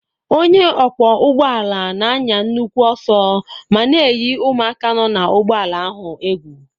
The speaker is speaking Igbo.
Onye ọkwọ ụgbọala na-anya nnukwu ọsọ ma na-eyi ụmụaka nọ na ụgbọala ahụ egwu.